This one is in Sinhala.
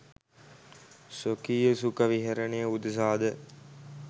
ස්වකීය සුඛ විහරණය උදෙසා ද